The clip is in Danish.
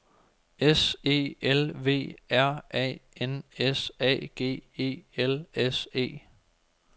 S E L V R A N S A G E L S E